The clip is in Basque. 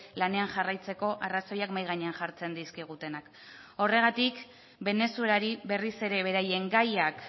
lanean jarraitzeko arrazoiak mahai gainean jartzen dizkigutenak horregatik venezuelari berriz ere beraien gaiak